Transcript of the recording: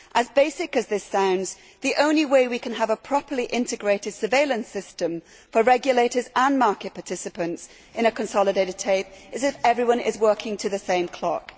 As basic as this sounds, the only way we can have a properly integrated surveillance system for regulators and market participants in a consolidated tape is if everyone is working to the same clock.